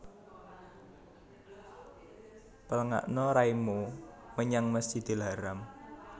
Pléngakna raimu menyang Masjidil Haram